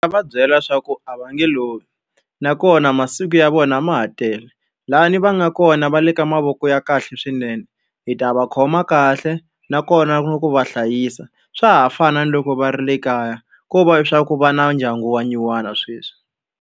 Va byela leswaku a va nge lovi, nakona masiku ya vona ma ha tele. Lahayani va nga kona va le ka mavoko ya kahle swinene, hi ta va khoma kahle nakona na ku va hlayisa. Swa ha fana na loko va ri le kaya ko va leswaku va na ndyangu wa nyuwana sweswi.